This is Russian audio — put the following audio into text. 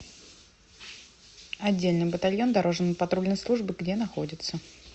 отдельный батальон дорожно патрульной службы где находится